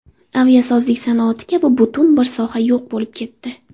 Aviasozlik sanoati kabi butun bir soha yo‘q bo‘lib ketdi.